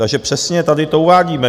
Takže přesně tady to uvádíme.